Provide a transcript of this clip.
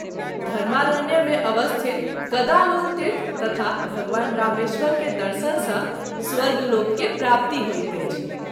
धर्मारण्य मे अवस्थित गदालोलतीर्थ तथा भगवान रामेश्वर के दर्शन सँ स्वर्ग लोक के प्राप्ति होइत अछि।